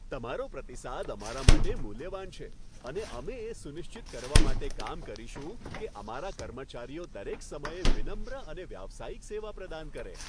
તમારો પ્રતિસાદ અમારા માટે મૂલ્યવાન છે અને અમે એ સુનિશ્ચિત કરવા માટે કામ કરીશું કે અમારા કર્મચારીઓ દરેક સમયે વિનમ્ર અને વ્યાવસાયિક સેવા પ્રદાન કરે.